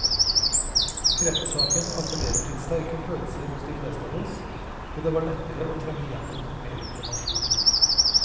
Kreftsaken appellerer til sterke følelser hos de fleste av oss, og det var lettere å trenge igjennom med informasjon.